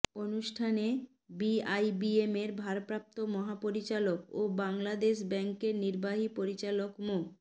অনুষ্ঠানে বিআইবিএমের ভারপ্রাপ্ত মহাপরিচালক ও বাংলাদেশ ব্যাংকের নির্বাহী পরিচালক মো